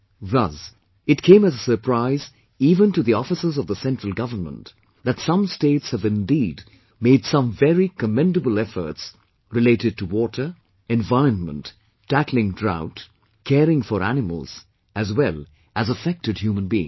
Thus, it came as a surprise even to the officers of the Central Government that some states have indeed made some very commendable efforts related to water, environment, tackling drought, caring for animals as well as affected human beings